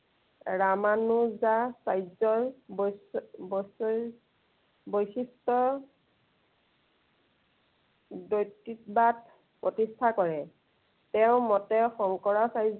ৰামানুযাচাৰ্যৰ বৈশি~বৈশিষ্টৰ ব্য়ক্তিবাদ প্ৰতিষ্ঠা কৰে। তেওঁৰ মতে শংকৰাচা